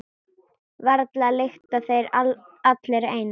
Varla lykta þeir allir eins.